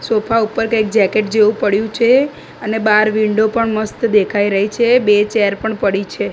Sofa ઉપર કઈ jacket જેવુ પડ્યુ છે અને બાર વિન્ડો પણ મસ્ત દેખાઈ રહી છે બે ચેર પણ પડી છે.